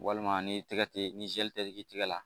Walima ni tɛgɛ tɛ ni tɛ k'i tɛgɛ la